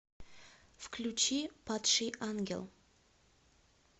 включи падший ангел